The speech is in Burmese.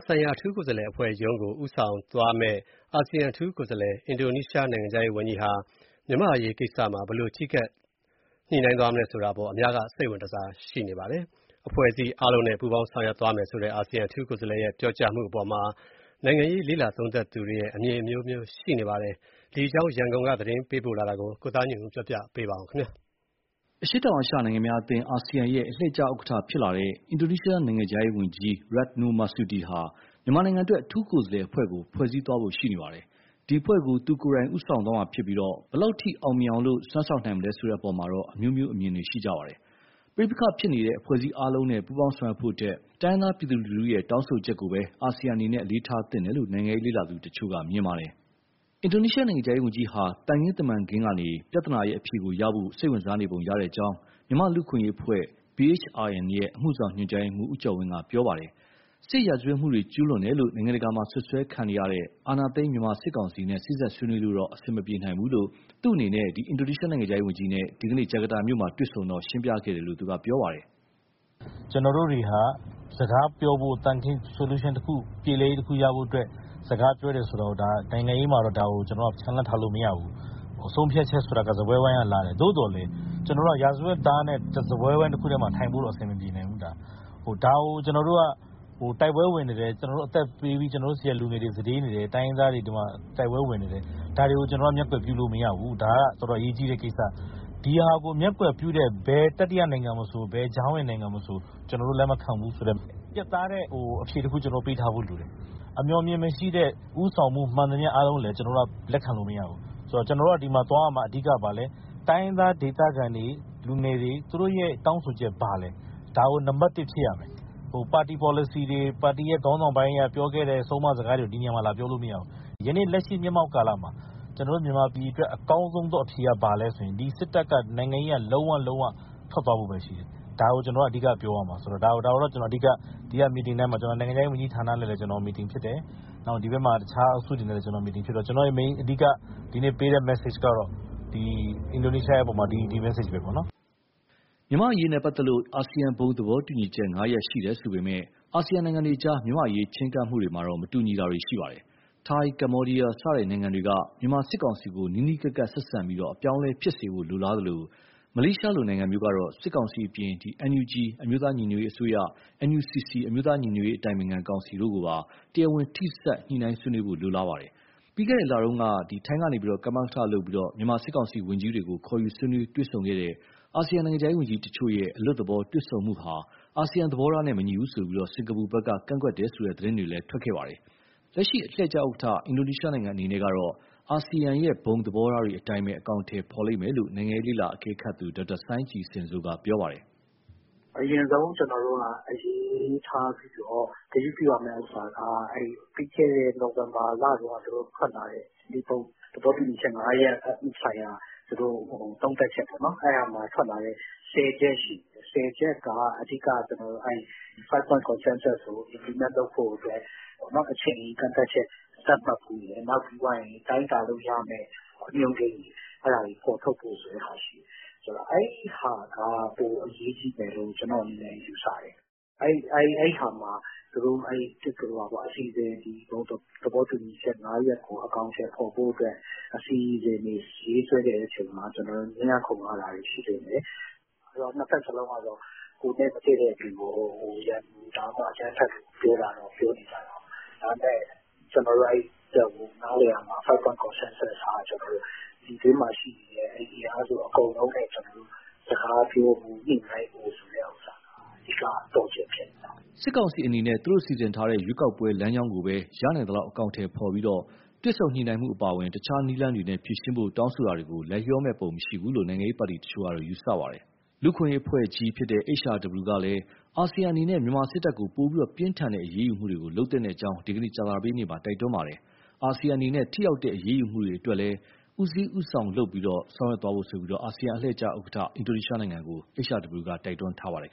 ဆိုင်ရာအထူးကိုယ်စားလှယ်အဖွဲ့ရုံးကို ဦးဆောင်သွားမယ့် အာဆီယံ အထူးကိုယ်စားလှယ်၊ အင်ဒိုနီးရှား နိုင်ငံခြားရေးဝန်ကြီးဟာ မြန်မာ့အရေးကိစ္စမှာ ဘယ်လိုချဉ်းကပ် ညှိနှိုင်းသွားမလဲဆိုတာ အများက စိတ်ဝင်တစား ရှိနေကြပါတယ်။ အဖွဲ့အစည်းအားလုံးနဲ့ ပူးပေါင်းဆောင်ရွက်သွားမယ်ဆိုတဲ့ အာဆီယံ အထူးကိုယ်စားလှယ်ရဲ့ ပြောကြားမှုအပေါ်မှာ နိုင်ငံရေး လေ့လာသုံးသပ်သူရဲ့ အမြင်အမျိုးမျိုး ရှိနေပါတယ်။ ဒီအကြောင်း ရန်ကုန်ကသတင်းပေးပို့တာကို ကိုသားညွန့်ဦး ပြောပြမှာပါ။ အရှေ့တောင်အာရှ နိုင်ငံများအသင်း အာဆီယံရဲ့ အလှည့်ကျဥက္ကဋ္ဌဖြစ်လာတဲ့ အင်ဒိုနီးရှားနိုင်ငံရဲ့ နိုင်ငံခြားရေးဝန်ကြီး Retno Marsudi ဟာ မြန်မာနိုင်ငံအတွက် အထူးကိုယ်စားလှယ်အဖွဲ့ကို ဖွဲ့စည်းသွားဖို့ ရှိနေပါတယ်။ ဒီအဖွဲ့ကို သူကိုယ်တိုင် ဦးဆောင်သွားမှာဖြစ်ပြီး ဘယ်လောက်အထိ အောင်မြင်အောင် စွမ်းဆောင်နိုင်မလဲ ဆိုတဲ့အပေါ်မှာ အမျိုးမျိုး အမြင်ရှိကြပါတယ်။ ပဋိပက္ခဖြစ်ပွားနေတဲ့ အဖွဲ့အစည်းအားလုံးနဲ့ ပူးပေါင်းဆောင်ရွက်ဖို့ထက် တိုင်းရင်းသား ပြည်သူလူထုရဲ့ တောင်းဆိုချက်ကိုသာ အာဆီယံအနေနဲ့ အလေးထားသင့်တယ်လို့ နိုင်ငံရေး လေ့လာသူတချို့က မြင်ပါတယ်။ အင်ဒိုနီးရှား နိုင်ငံခြားရေးဝန်ကြီးဟာ သံခင်းတမန်ခင်းကနေ ပြဿနာရဲ့ အဖြေကိုရဖို့ စိတ်ဝင်စားနေပုံရကြောင်း မြန်မာ့လူ့အခွင့်အရေးအဖွဲ့ BHRN ရဲ့ အမှုဆောင် ညွှန်ကြားရေးမှူး ဦးကျော်ဝင်းက ပြောပါတယ်။ စစ်ရာဇဝတ်မှုတွေကျူးလွန်တယ်လို့ နိုင်ငံတကာမှာစွပ်စွဲခံနေရတဲ့ အောဏာသိမ်းမြန်မာစစ်ကောင်စီနဲ့ စေ့စပ်ဆွေးနွေးလို့တော့ အဆင်မပြေနိုင်ဘူးလို့ သူ့အနေနဲ့ အင်ဒိုနီးရှားနိုင်ငံခြားရေးဝန်ကြီးနဲ့ ဒီကနေ့ ဂျကာတာမြို့မှာ တွေ့ဆုံစဉ် ဦးကျော်ဝင်းက ရှင်းပြခဲ့တယ်လို့ ပြောပါတယ်။ "ကျနော်တို့တွေဟာ စကားပြောဖို့၊ Solution တခု ပြေလည်ရေးရဖို့အတွက် စကားပြောရတယ် ဆိုတာကို နိုင်ငံရေးမှာ ချန်လှပ်ထားလို့ မရဘူး၊ ဆုံးဖြတ်ချက်ဆိုတာ စားပွဲဝိုင်းကလာတယ်။ သို့သော်လည်း ကျနော်တို့က ရာဇဝတ်သားနဲ့ စားပွဲဝိုင်းတခုတည်းမှာ ထိုင်ဖို့တော့ အဆင်မပြေနိုင်ဘူး။ အသက်ပေးပြီး ကျနော်တို့ဆီက လူငယ်တွေ စတေးနေတယ်၊ တိုင်းရင်းသားတွေ တိုက်ပွဲဝင်နေတယ် ဒါတွေကို ကျနော်တို့က မျက်ကွယ်ပြုလို့ မရဘူး။ ဒါကတော်တော် အရေးကြီးတဲ့ကိစ္စ။ ဒါကိုမျက်ကွယ်ပြုတဲ့ ဘယ်တတိယနိုင်ငံမဆို၊ ဘယ်ကြားဝင်နိုင်ငံမဆို ကျနော်တို့ လက်မခံဘူးဆိုတဲ့ ပြတ်သားတဲ့ အဖြေတခု ပေးထားဖို့လိုတယ်။ အမြော်အမြင်မရှိတဲ့ ဦးဆောင်မှု မှန်သမျှ အားလုံးကိုလည်း လက်ခံလို့မရဘူး။ တိုင်းရင်းသားဒေခံတွေ၊ လူငယ်တွေ သူတို့ရဲ့ တောင်းဆိုချက်က ဘာလဲ၊ ဒါကိုနံပတ်တစ် ဖြစ်ရမယ်။ ပါတီပေါ်လစီတွေ၊ ပါတီခေါင်းဆောင်ပိုင်းက ပြောခဲ့တဲ့ ဆုံးမစကားတွေကို ဒီနေရာမှာ လာပြောလို့မရဘူး။ ယနေ့လက်ရှိ မျက်မှောက်ကာလမှာ မြန်မာပြည်အတွက် အကောင်းဆုံအဖြေက ဘာလဲဆိုရင် စစ်တပ်က နိုင်ငံရေးက လုံးဝ၊ လုံးဝ ထွက်သွားဖို့ပဲရှိတယ်။ ဒါကို ကျနော်တို့က အဓိကပြောရမှာ။ ဒါကို ဒီက meeting ထဲမှာ၊ နိုင်ငံခြားရေးဝန်ကြီးနဲ့လည်း meeting ဖြစ်တယ်၊ တခြား အုပ်စုတွေနဲ့လည်း meeting ဖြစ်တော့ ကျနော့ရဲ့ အဓိက ဒီနေ့ပေးတဲ့ message ကတော့ အင်ဒိုနီးရှားရဲ့အပေါ်မှာ ဒီ message ပဲပေါ့နော်။" မြန်မာ့အရေးနဲ့ပတ်သက်လို့ အာဆီယံဘုံသဘောတူညီချက် ၅ ရပ် ရှိတယ်ဆိုပေမယ့်၊ အာဆီယံနိုင်ငံတွေအကြား မြန်မာ့အရေးချည်းကပ်မှုမှာ မတူညီတာတွေရှိပါတယ်။ ထိုင်း၊ ကမ္ဘောဒီယား စတဲ့နိုင်ငံတွေက မြန်မာစစ်ကောင်စီကို နီးနီးကပ်ကပ်ဆက်ဆံပြီး အပြောင်းအလဲဖြစ်စေဖို့ လိုလားသလို၊ မလေးရှားလို နိုင်ငံမျိုးကတော့ စစ်ကောင်စီအပြင် NUG အမျိုးသားညီညွတ်ရေးအစိုးရ၊ NUCC အမျိုးသားညီညွတ်ရေးအတိုင်ပင်ခံကောင်စီတို့ကိုပါ တရားဝင်ထိစပ် ညှိုနှိုင်းဆွေးနွေးဖို့ လိုလားပါတယ်။ ပြီးခဲ့တဲ့လကတုန်းက ထိုင်းက ကမကထလုပ်ပြီး မြန်မာစစ်ကောင်စီဝန်ကြီးတွေကို ခေါ်ယူဆွေးနွေးတွေ့ဆုံတဲ့ အာဆီယံနိုင်ငံခြားရေးဝန်ကြီးတချို့ရဲ့ အလွတ်သဘောတွေ့ဆုံမှုဟာ အာဆီယံသဘောထားနဲ့မညီဘူးဆိုပြီး စင်ကာပူဖက်က ကန့်ကွက်တယ်ဆိုတဲ့ သတင်းတွေ ထွက်လာခဲ့ပါတယ်။ လက်ရှိ အလှည့်ကျဥက္ကဌ အင်ဒိုနီးရှားနိုင်ငံအနေနဲ့ကတော့ အာဆီယံဘုံသဘောထားတွေအတိုင်းပဲ အကောင်အထည်ဖော်လိမ့်မယ်လို့ နိုင်ငံရေးလေ့လာအကဲခတ်သူ ဒေါက်တာစိုင်းကြည်ဇင်စိုးက ပြောပါတယ်။ " အရင်ဆုံး အလေးထားပြီးတော့ ဂရုပြုရမယ့်ဥစ္စာက ပြီးခဲ့တဲ့ နိုဝင်ဘာလတုန်းက ဘုံသဘောတူညီချက် ငါးရပ်ဆိုင်ရာ သုံးသပ်ချက်ပေါ့နော် ဆယ်ချက်ရှိတယ်၊ ဆယ်ချက်က အဓိက ဘုံသဘောတူညီချက်ကို အကောင်အထည်ဖော်လုပ်ဖို့အတွက် အချိန်ကန့်သတ်ချက် သတ်မှတ်ဖို့၊ ပြီးရင် တိုင်းတာလို့ရမယ့် အညွန်းကိန်းတွေ အဲဒါတွေ ဖော်ထုတ်ဖို့ဆိုတဲ့ဟာ ရှိတယ်။ အဲဒီဟာက ပိုအရေးကြီးမယ်လို့ ကျနော့အနေနဲ့ ယူဆတယ်။ အဲဒီမှာ သူတို့ဘုံသဘောတူညီချက် ငါးရပ်ကို အကောင်အထည် ဖော်ဖို့အတွက် အစီအစဉ်တွေ ရေးဆွဲတဲ့အချိန်မှာ ငြင်းရခုံရတာတွေ ရှိလိမ့်မယ်၊ နှစ်ဘက်လုံးကတော့ ကိုယ်နဲ့မတည့်တဲ့သူကို ရန်သူ၊ အကြမ်းဖက်လို့ ပြောနေကြတာပဲ၊ ဒါပေမဲ့ ကျနော်တို့ နားလည်ရမှာက five-point consensus ဟာ ပြည်တွင်းမှာရှိနေတဲ့ အင်အားစုအကုန်လုံးနဲ့ စကားပြောဖို့ ညှိနှိုင်းဖို့ဆိုတဲ့ အဓိကသော့ချက် ဖြစ်နေတယ်။" စစ်ကောင်စီအနေနဲ့ သူတို့စီစဉ်ထားတဲ့ ရွေးကောက်ပွဲလမ်းကြောင်းကိုပဲ ရနိုင်သလောက် အကောင်အထည်ဖော်ပြီး၊ တွေ့ဆုံညှိုနှိုင်းရေးအပါအဝင် တခြားနည်းလမ်းတွေနဲ့ ဖြေရှင်းဖို့ တောင်းဆိုတာတွေကို လိုက်လျောမယ့်ပုံ မရှိဘူးလို့ နိုင်ငံရေးပါတီတချို့က ယူဆပါတယ်။ လူ့အခွင့်အရေးအဖွဲ့ကြီး HRW ကလည်း အာဆီယံအနေနဲ့ မြန်မာစစ်တပ်ကို ပိုပြီးပြင်းထန်တဲ့ အရေးယူမှုတွေကို လုပ်သင့်ကြောင်း ဒီနေ့ ကြာသပတေးနေ့မှာ တိုက်တွန်းလိုက်ပါတယ်။ အာဆီယံအနေနဲ့ ထိရောက်တဲ့ အရေးယူမှုတွေ အတွက်လည်း ဦးစီးဦးရွက်လုပ်ဖို့ အာဆီယံအလှည့်ကျ ဥက္ကဋ္ဌ အင်ဒိုနီးရှားနိုင်ငံကို HRW က တိုက်တွန်းထားပါတယ်